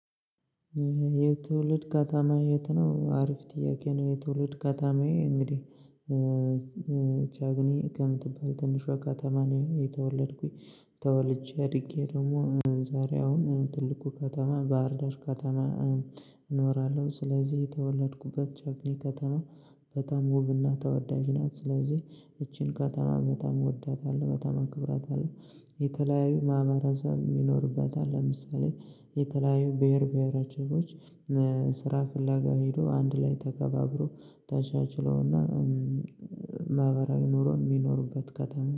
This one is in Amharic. የትውልድ ከታማዬ የትነው? አሪፍ ጥያቄ ነው የትውልድ ከታማዬ እንግዲህ ቻግኒ ከምትባል ትንሿ ከተማ ነው የተወለድኩኝ። ተወልጄ አድጌ ደግሞ ዛሬ አሁን ትልቁ ከተማ ባህርዳር ከተማ። እኖራለሁ ስለዚህ የተወለድኩበት ቸክሊ ከተማ በጣም ውብና ተወዳጅ ናት ስለዚህ ይቺን ከተማ በጣም ወዳታለሁ በጣም አከብራታለሁ። የተለያዩ ማህበረሰብ ይኖርባታል ለምሳሌ የተለያዩ ብሄር ብሄረሰቦች ስራ ፍለጋ ሄዶ አንድ ላይ ተከባብሮ ተቻችለውና ማህበራዊ ኑሮ የሚኖርበት ከተማ